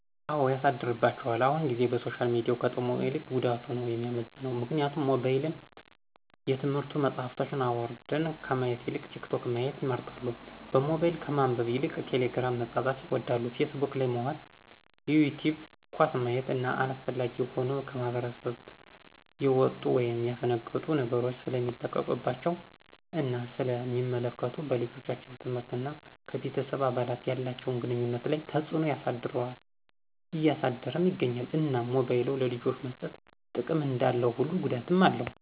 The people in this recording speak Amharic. አው ያሳድርባቸዋል አሁን ጊዜ በሶሻል ሚዲያው ከጥቅሙ ይልቅ ጉዳቱ ነው የሚመዝነው ምክንያቱም ሞባይልን የትምህርት መፅሐፎችን አውራድን ከማየት ይልቅ ቲክቶክ ማየት ይመርጣሉ በሞባይል ከማንበብ ይልቅ ቴሊግርም መፃፃፍን ይወዳሉ ፊስቡክ ላይ መዋል ይቲውብ ኳስ ማየት እነ አላስፈላጊ የሆኑ ከማህብረስብ የውጡ ወይም የፈነገጡ ነገሮች ሰለሚለቀቀባቸው እና ስለ ሚመለከቱ በልጆቻችን ትምህርት እና ከቤተሰብ አባላት ያላቸውን ግኑኝነት ላይ ተፅዕኖ ያሰድርልም እያሳደረም ይገኛል። እናም ሞባይል ለልጆች መሰጠት ጥቅም እንዳለው ሁሉ ጉዳትም አለው